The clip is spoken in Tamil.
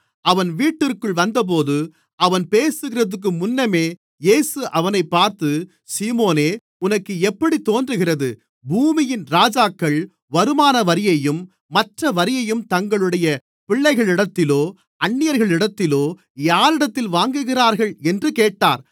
அவன் வீட்டிற்குள் வந்தபோது அவன் பேசுகிறதற்கு முன்னமே இயேசு அவனைப் பார்த்து சீமோனே உனக்கு எப்படித் தோன்றுகிறது பூமியின் ராஜாக்கள் வருமானவரியையும் மற்ற வரியையும் தங்களுடைய பிள்ளைகளிடத்திலோ அந்நியர்களிடத்திலோ யாரிடத்தில் வாங்குகிறார்கள் என்று கேட்டார்